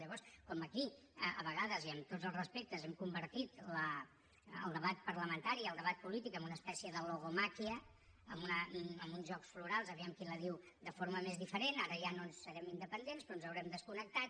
llavors com que aquí a vegades i amb tots els respectes hem convertit el debat parlamentari i el debat polític en una espècie de logomàquia en uns jocs florals a veure qui la diu de forma més diferent ara ja no serem independents però ens haurem desconnectat